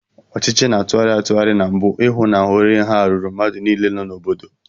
Ọchịchị na tụgharị atụgharị na mbu, I hụ na ohere nha ruru mmadụ niile nọ n'obodo.